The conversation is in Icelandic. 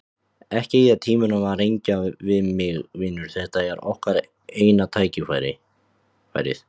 Ekki eyða tímanum í að rengja mig, vinur, þetta er okkar eina tækifærið.